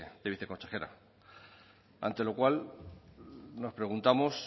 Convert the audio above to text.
de viceconsejera ante lo cual nos preguntamos